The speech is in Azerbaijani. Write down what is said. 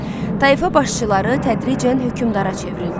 Tayfa başçıları tədricən hökmdara çevrildi.